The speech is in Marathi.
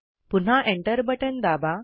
पुन्हा Enter बटण दाबा